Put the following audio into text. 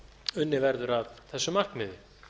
unnið verður að þessu markmiði